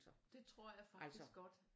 Det tror jeg faktisk godt